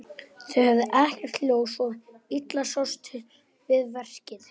Þeir höfðu ekkert ljós, svo illa sást til við verkið.